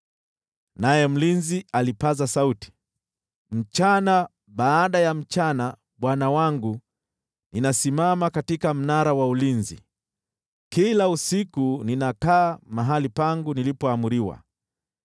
Naye mlinzi alipaza sauti, “Mchana baada ya mchana, bwana wangu, ninasimama katika mnara wa ulinzi, kila usiku ninakaa mahali pangu nilipoamriwa.